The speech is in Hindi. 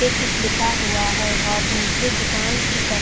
ये कुछ लिखा हुआ है और नीचे दुकान की तरफ--